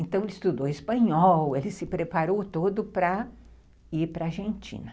Então ele estudou espanhol, ele se preparou todo para ir para a Argentina.